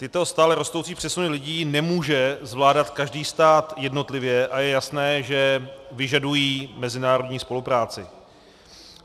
Tyto stále rostoucí přesuny lidí nemůže zvládat každý stát jednotlivě a je jasné, že vyžadují mezinárodní spolupráci.